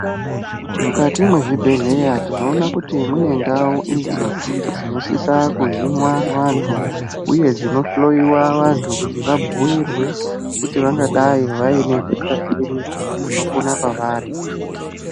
Mukati mezvibhedhleya tinoona kuti mune ndau idzo dzinosisa kuhinwa vantu uye dzinohloiwa vantu kuti vabhuirwe kuti vangadai vaine hutariri hunopona pavari.